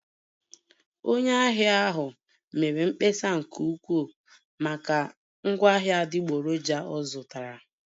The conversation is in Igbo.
Onye ahịa ahụ mere mkpesa nke ukwuu maka ngwaahịa adịgboroja ọ zụtara